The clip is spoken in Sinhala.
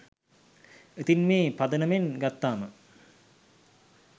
ඉතිං මේ පදනමෙන් ගත්තාම